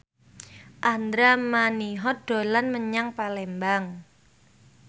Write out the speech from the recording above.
Andra Manihot dolan menyang Palembang